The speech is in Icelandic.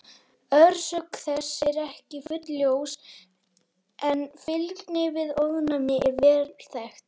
Orsök þess er ekki fullljós en fylgni við ofnæmi er vel þekkt.